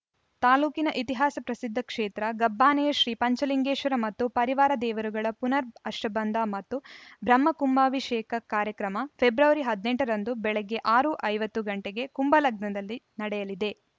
ತಾಲೂಕಿನ ಇತಿಹಾಸ ಪ್ರಸಿದ್ಧ ಕ್ಷೇತ್ರ ಗಬ್ಬಾನೆಯ ಶ್ರೀ ಪಂಚಲಿಂಗೇಶ್ವರ ಮತ್ತು ಪರಿವಾರ ದೇವರುಗಳ ಪುನರ್‌ ಅಷ್ಟಬಂಧ ಮತ್ತು ಬ್ರಹ್ಮ ಕುಂಭಾಭಿಷೇಕ ಕಾರ್ಯಕ್ರಮ ಫೆಬ್ರವರಿ ಹದಿನೆಂಟ ರಂದು ಬೆಳಗ್ಗೆ ಆರು ಐವತ್ತು ಗಂಟೆಗೆ ಕುಂಭಲಗ್ನದಲ್ಲಿ ನಡೆಯಲಿದೆ